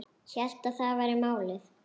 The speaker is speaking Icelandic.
Hélt að það væri málið.